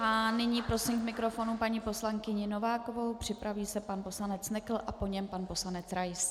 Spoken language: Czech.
A nyní prosím k mikrofonu paní poslankyni Novákovou, připraví se pan poslanec Nekl a po něm pan poslanec Rais.